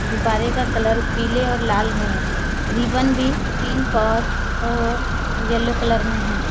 गुब्बारे का कलर पीले और लाल में है रिबन भी पिंक और और येलो कलर में है।